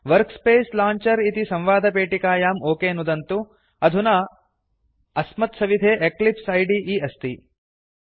workspace launcher इति संवादपेटिकायां okay नुदन्तु अधुना अस्मत्सविधे एक्लिप्स इदे अस्ति